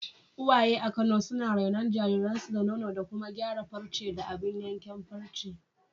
Uwaye a Kano suna renon jariransu da nono da kuma gyara farce da abun yankan farce.